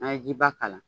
N'a ye jiba k'a la